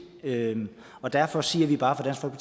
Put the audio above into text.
og derfor siger vi bare fra